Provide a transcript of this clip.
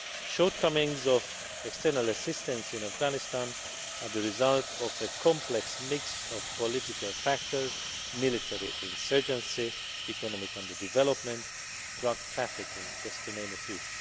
Shortcomings of external assistance in Afghanistan are the result of a complex mix of political factors, military insurgency, economic underdevelopment and drug trafficking, to name just a few.